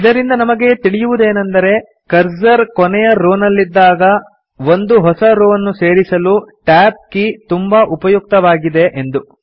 ಇದರಿಂದ ನಮಗೆ ತಿಳಿಯುವುದೇನೆಂದರೆ ಕರ್ಸರ್ ಕೊನೆಯ ರೋ ನಲ್ಲಿ ಇದ್ದಾಗ ಒಂದು ಹೊಸ ರೋ ಅನ್ನು ಸೇರಿಸಲು Tab ಕೀ ತುಂಬಾ ಉಪಯುಕ್ತವಾಗಿದೆ ಎಂದು